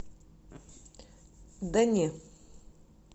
да не